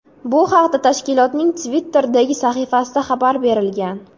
Bu haqda tashkilotning Twitter’dagi sahifasida xabar berilgan .